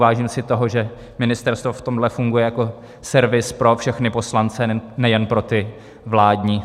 Vážím si toho, že ministerstvo v tomhle funguje jako servis pro všechny poslance, nejen pro ty vládní.